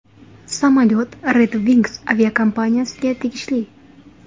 Samolyot Red Wings aviakompaniyasiga tegishli.